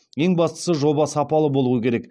ең бастысы жоба сапалы болу керек